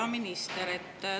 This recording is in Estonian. Hea minister!